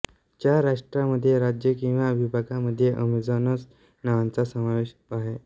चार राष्ट्रांमध्ये राज्ये किंवा विभागांमध्ये अमेझोनस नावांचा समावेश आहे